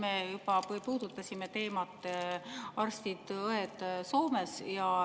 Me juba puudutasime teemat "Arstid ja õed Soomes".